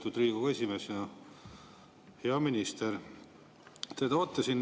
Kui meil esialgses eelnõus oli avansilise tulumaksu tõus 22%-le, siis me olime arvestanud, et 20% kasumist võidakse välja viia.